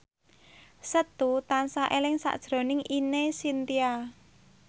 Setu tansah eling sakjroning Ine Shintya